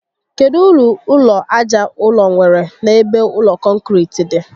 Kedụ uru ụlọ aja ụrọ nwèrè n'ebe ụlọ kọnkiriti dị?